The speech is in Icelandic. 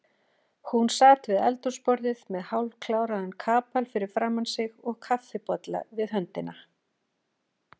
Hún sat við eldhúsborðið með hálfkláraðan kapal fyrir framan sig og kaffibolla við höndina.